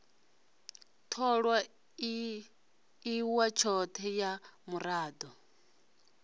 tholwa iwa tshothe ha murado